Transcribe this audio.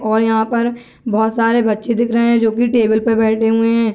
और यहाँ पर बहुत सारे बच्चे दिख रहे हैं जो की टेबल पे बैठे हुए हैं |